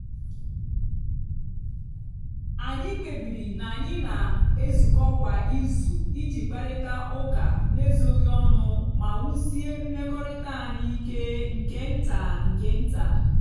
anyị kpebiri na anyị na-ezukọ kwa izu iji kparịta ụka n'ezoghị ọnụ ma wusie mmekọrịta anyị ike nke nta nke nta.